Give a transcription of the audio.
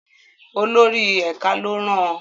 Olórí ẹ̀ka ló rán an.